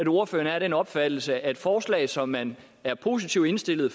ordføreren er af den opfattelse at realiseringen af forslag som man er positivt indstillet